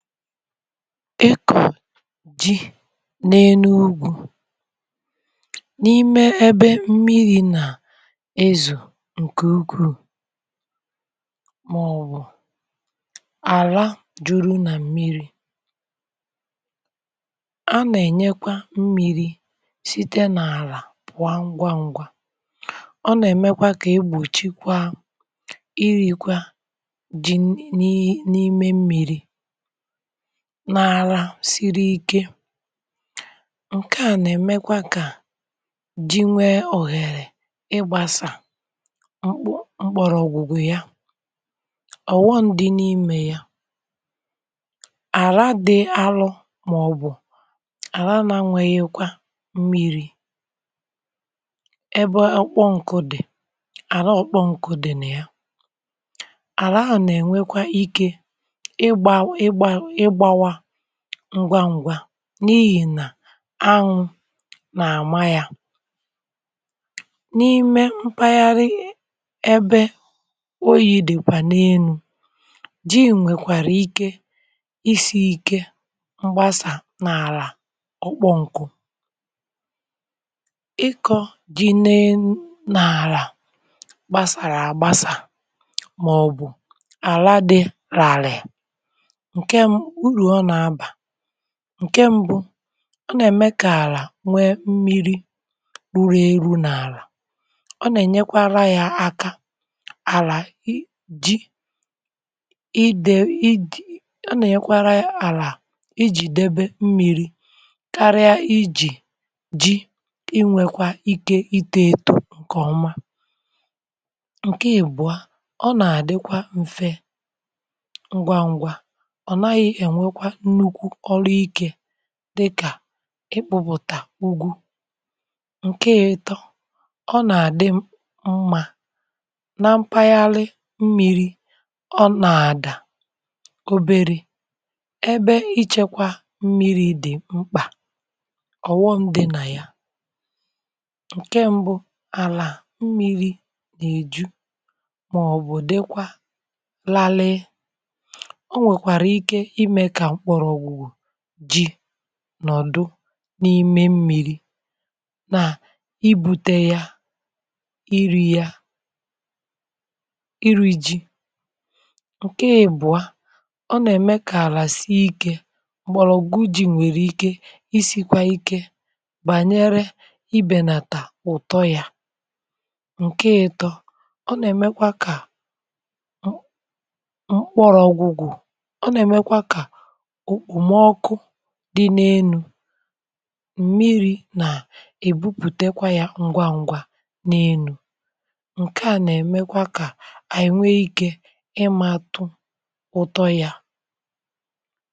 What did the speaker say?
i kọ̀ jì n’enu ugwu̇ n’ime ebe mmiri̇ nà ezù ǹkè ugwuù màọ̀bụ̀ àla jùru nà mmiri̇ a nà-ènyekwa mmiri̇ site nà àlà pụ̀wa ngwa ngwa ọ nà-èmekwa kà egbòchi kwa irì kwa jì n’ime mmiri̇ na-àra siri ikė ǹke à nà-èmekwa kà ji nwee òhèrè ịgbȧsà mkpụ mkpọrọ̀ ọ̀gụ̀gụ̀ ya ọ̀ghọ̀ndị̀ n’imė ya àra dị̇ arụ̇ màọbụ̀ àra na nweghikwa mmiri ebe ọ kpọọ nkụdì àra ọ kpọọ nkụdị̀ na ya àra à nà-ènwekwa ikė ịgba ịgba ịgbawa ngwa ngwa n’ihì nà anwụ̇ nà àma yȧ n’ime mpaghara ebe oyi̇ dịkwà n’enu̇ ji nwèkwàrà ike isi̇ ike mgbasà n’àlà ọ kpọ̀ǹkụ̀ ịkọ̇ ji nee n’àlà gbasàrà àgbasà màọ̀bụ̀ àra dị ràrị̀ nke uru ọna aba. Nke mbụ, ọ nà-ème kà àlà nwee mmiri̇ urù eru n’àlà ọ nà-ènyekwara ya aka àlà i ji ide i ji ọ nà-ènyekwara ya àlà ijì debe mmi̇ri̇ karịa ijì ji inwėkwa ike itȯeto ǹkè ọma. Nke ìbụ̀a, ọ nà-àdịkwa m̀fe ngwá ngwá ọnaghi enwekwa nnukwu ọrụ ike dịkà ikpụ̀pụ̀tà ugwu. Nke ọ̀tọ, ọ nà-àdị mmȧ na mpaghara mmiri̇ ọ nà-àdà oberė ebe ichėkwȧ mmiri̇ dị̀ mkpà ọ̀ghọm dị̇ nà ya: ǹke ṁbụ̇, àlà mmiri̇ nà-èju màọbụ̀ dịkwa larie onwekwara ike ime ka mgbọrọgwụ ji̇ nọ̀dụ n’ime mmìri na ibu̇te ya, iri̇ ya, iri̇ ji. Nke ìbụ̀ọ, ọ nà-ème kààlà si ikė m̀gbọ̀rọgwụ ji nwekwara ike isikwa ike banyere ịbelata ụtọ ya. Nke ịtọ, ọ nà-èmekwa kà mkpọrọ̇ ọgwụ̀gwụ̀ ọ na emekwa ka okpomoku dị n’enu̇ m̀miri nà-èbupùtekwa yȧ ǹgwà ǹgwà n’enu̇ ǹkè a nà-èmekwa kà ànyị nwe ikė ịmȧtụ̇ ụtọ yȧ.